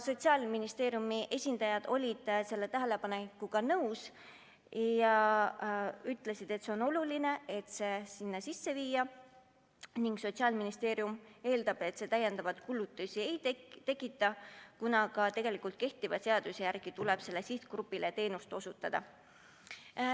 Sotsiaalministeeriumi esindajad olid selle tähelepanekuga nõus ja ütlesid, et on oluline see sinna sisse viia, ning Sotsiaalministeerium eeldab, et see täiendavaid kulutusi ei tekita, kuna ka kehtiva seaduse järgi tuleb sellele sihtgrupile teenust osutada.